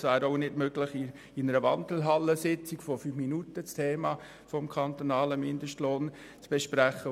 Es wäre auch nicht in fünf Minuten während einer Wandelhallensitzung möglich, das Thema des kantonalen Mindestlohnes zu besprechen.